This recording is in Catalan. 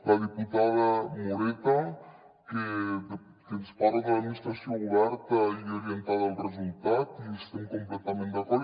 la diputada moreta que ens parla de l’administració oberta i orientada al resultat hi estem completament d’acord